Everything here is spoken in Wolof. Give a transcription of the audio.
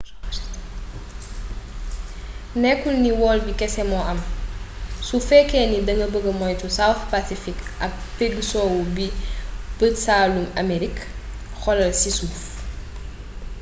nekul ni wol bi kese mo am su feke ni danga bëgg moytu south pacific ak pegg sowu bu bëj-saalumu aamerig. xoolal ci suuf